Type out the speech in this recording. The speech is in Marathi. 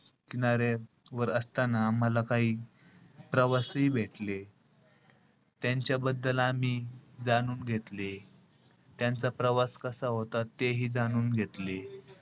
किनाऱ्यावर असताना आम्हाला काही प्रवासीही भेटले. त्यांच्याबद्दल आम्ही जाणून घेतले. त्यांचा प्रवास कसा होता, तेही जाणून घेतले.